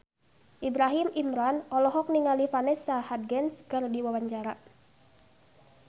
Ibrahim Imran olohok ningali Vanessa Hudgens keur diwawancara